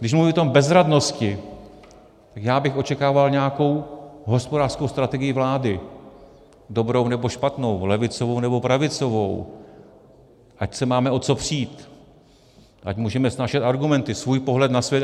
Když mluvím o té bezradnosti, tak já bych očekával nějakou hospodářskou strategii vlády, dobrou nebo špatnou, levicovou nebo pravicovou, ať se máme o co přít, ať můžeme snášet argumenty, svůj pohled na svět.